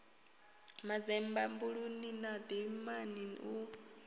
manzemba buluni na dimani hu